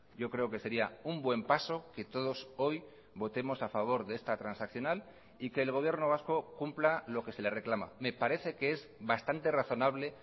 yo creo que sería un buen paso que todos hoy votemos a favor de esta transaccional y que el gobierno vasco cumpla lo que se le reclama me parece que es bastante razonable